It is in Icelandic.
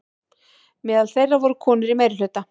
Meðal þeirra voru konur í meirihluta.